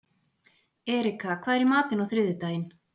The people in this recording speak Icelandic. Erika, hvað er í matinn á þriðjudaginn?